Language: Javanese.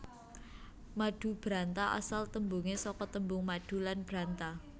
Madubranta asal tembunge saka tembung madu lan branta